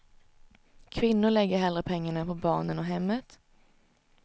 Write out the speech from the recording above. Kvinnor lägger hellre pengarna på barnen och hemmet.